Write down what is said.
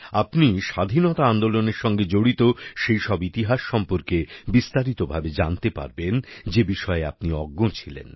আপনি স্বাধীনতা আন্দোলনের সঙ্গে জড়িত সেইসব ইতিহাস সম্পর্কে বিস্তারিতভাবে জানতে পারবেন যে বিষয়ে আপনি অজ্ঞ ছিলেন